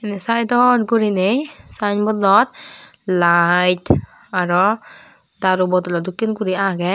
ey saidot guriney sayenbodot layet aro daru bodolo dokken guri agey.